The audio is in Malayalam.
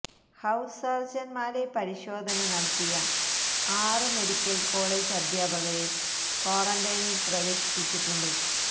ഹൌസ് സർജൻമാരെ പരിശോധന നടത്തിയ ആറ് മെഡിക്കൽ കോളജ് അധ്യാപകരെ ക്വാറന്റൈനിൽ പ്രവേശിപ്പിച്ചിട്ടുണ്ട്